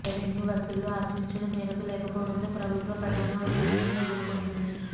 revenue వసూళ్లు ఆశించిన మేరకు లేకపోవడంతో ప్రభుత్వ ఖజానా ఒత్తిడిని ఎదుర్కొంటోంది